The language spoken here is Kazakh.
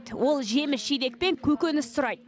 ол жеміс жидек пен көкөніс сұрайды